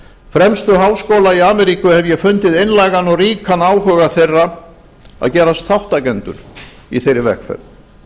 fremstu háskóla í ameríku hef ég fundið einlægan og ríkan áhuga þeirra að gerast þátttakendur í þeirri vegferð